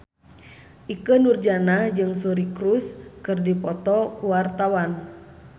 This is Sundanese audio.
Ikke Nurjanah jeung Suri Cruise keur dipoto ku wartawan